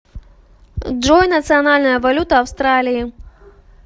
джой национальная валюта австралии